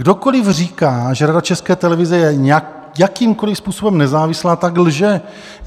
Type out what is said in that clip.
Kdokoliv říká, že Rada České televize je jakýmkoli způsobem nezávislá, tak lže.